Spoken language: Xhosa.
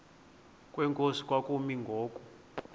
kwenkosi kwakumi ngoku